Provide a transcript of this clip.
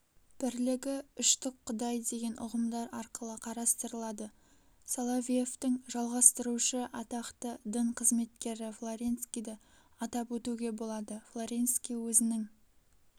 бірлігі үштік құдай деген ұғымдар арқылы қарастырылады соловьевтің жалғастырушы атақты дін қызметкері флоренскийді атап өтуге болады флоренский өзінің